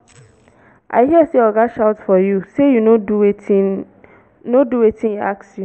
i hear say oga shout for you say you no do wetin no do wetin e ask you.